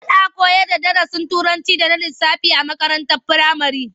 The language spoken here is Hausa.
Ana koyarda darasin Turanci da na lissafi a makarantar firamare.